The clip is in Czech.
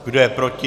Kdo je proti?